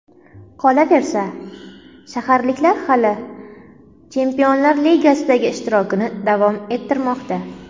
Qolaversa, shaharliklar hali Chempionlar Ligasidagi ishtirokini davom ettirmoqda.